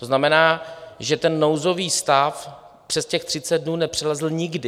To znamená, že ten nouzový stav přes těch 30 dnů nepřelezl nikdy.